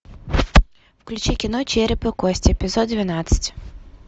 включи кино череп и кости эпизод двенадцать